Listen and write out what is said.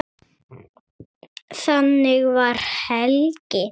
Þannig var Helgi.